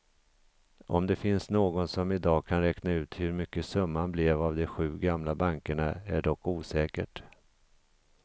Om det finns någon som i dag kan räkna ut hur mycket summan blev av de sju gamla bankerna är dock osäkert.